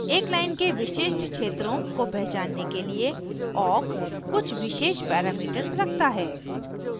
parameters : एक line के विशिष्ट क्षेत्रों को पहचानने के लिए awk कुछ विशेष parameters रखता है